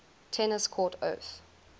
tennis court oath